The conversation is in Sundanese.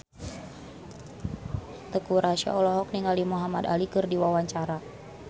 Teuku Rassya olohok ningali Muhamad Ali keur diwawancara